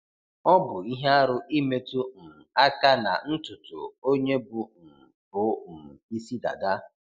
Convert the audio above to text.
Ọ bụ ihe arụ imetu um aka na ntụtụ onye bụ um bụ um ịsị dada